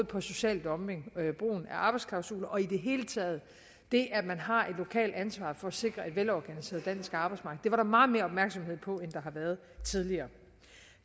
på social dumping og brugen arbejdsklausuler og i det hele taget det at man har et lokalt ansvar for at sikre et velorganiseret dansk arbejdsmarked det var der meget mere opmærksomhed på end der har været tidligere